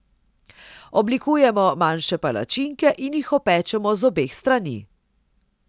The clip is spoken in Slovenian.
Oblikujemo manjše palačinke in jih opečemo z obeh strani.